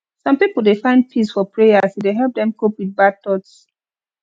some pipo dey find peace for prayer as e dey help dem cope with bad thoughts